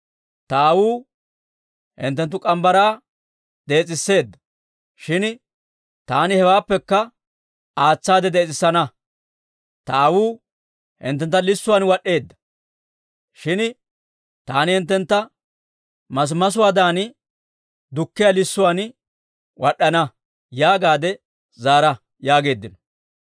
Ta aawuu hinttenttu morgge mitsaa dees'iseedda; shin taani hewaappekka aatsaade dees'isana. Ta aawuu hinttentta lissuwaan wad'd'eedda; shin taani hinttentta masimasuwaadan dukkiyaa lissuwaan wad'd'ana› yaagaade zaara» yaageeddino.